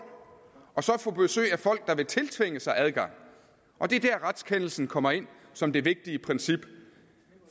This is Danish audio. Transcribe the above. og så at få besøg af folk der vil tiltvinge sig adgang det er der retskendelsen kommer ind som det vigtige princip